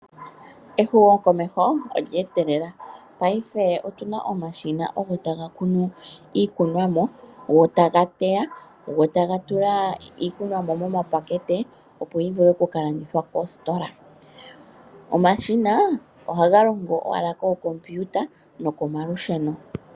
Ehumokomeho olye etelela, paife otuna omashina ogo taga kunu iikunomwa, go taga teya, go taga tula iikunomwa momapakete, opo yi vule oku ka landithwa koositola. Omashina ohaga longo owala kookompiuta nokomalusheno.